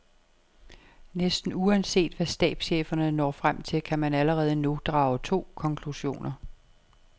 Næsten uanset hvad stabscheferne når frem til, kan man allerede nu drage to konklusioner.